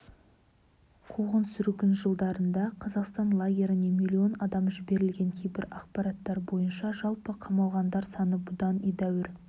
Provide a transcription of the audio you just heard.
қуғын-сүргін жылдарында қазақстан лагерьлеріне млн адам жіберілген кейбір ақпараттар бойынша жалпы қамалғандар саны бұдан едәуір